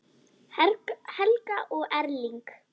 Helga og Erling.